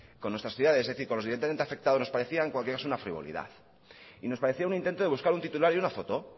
con nuestras ciudades es decir con los directamente afectados nos parecía en cualquier caso una frivolidad y nos parecía un intento de buscar un titular y una foto